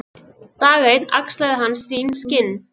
Dag einn axlaði hann sín skinn.